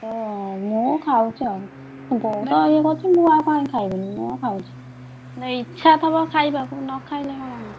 କିନ୍ତୁ ମୁଁ ଖାଉଛି ଆଉ ବୋଉ ତ ଇଏ କରୁଛି ମୁଁ ଆଉ କାଇଁ ଖାଇବିନି ମୁଁ ଖାଉଛି ନା ଇଚ୍ଛା ଥବ ଖାଇବାକୁ ନଖାଇଲେ କଣ?